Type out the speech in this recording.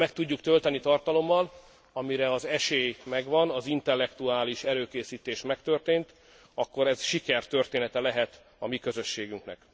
Ha meg tudjuk tölteni tartalommal, amire az esély megvan az intellektuális előkészítés megtörtént akkor ez sikertörténete lehet a mi közösségünknek.